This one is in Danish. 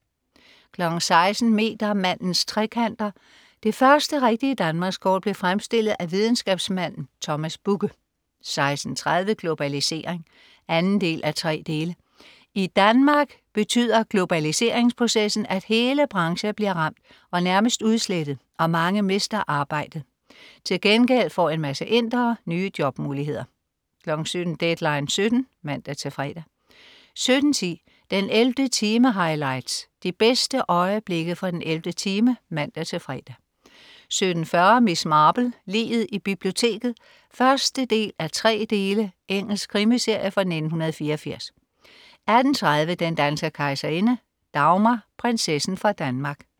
16.00 Metermandens trekanter. Det første rigtige Danmarkskort blev fremstillet af videnskabsmanden Thomas Bugge 16.30 Globalisering 2:3. I Danmark betyder globaliseringsprocessen, at hele brancher bliver ramt og nærmest udslettet og mange mister arbejdet. Til gengæld får en masse indere nye jobmuligheder 17.00 Deadline 17.00 (man-fre) 17.10 den 11. time highlights. De bedste øjeblikke fra den 11. time (man-fre) 17.40 Miss Marple: Liget i biblioteket 1:3. Engelsk krimiserie fra 1984 18.30 Den danske kejserinde. Dagmar, prinsessen fra Danmark